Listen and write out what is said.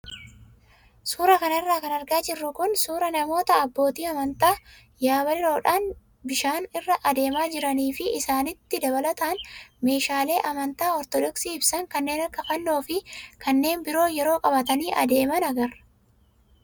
Suuraa kanarra kan argaa jirru kun suuraa namoota abbootii amantaa yabaloodhaan bishaan irra adeemaa jiranii fi isaanitti dabalataan meeshaalee amantaa ortodoksii ibsan kanneen akka fannoo fi kanneen biroo yeroo qabatanii adeeman agarra.